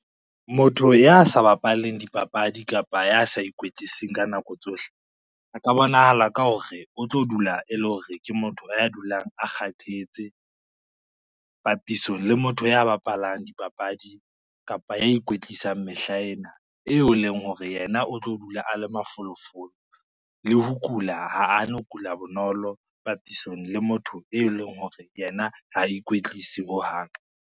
Motho ya sa bapaleng dipapadi kapa ya sa ikwetliseng ka nako tsohle, a ka bonahala ka hore o tlo dula e le hore ke motho a dulang a kgathetse, papisong le motho ya bapalang dipapadi kapa ya ikwetlisang mehlaena eo e leng hore yena o tlo dula a le mafolofolo le ho kula ha a no kula bonolo papisong le motho, e leng hore yena ha ikwetlise hohang.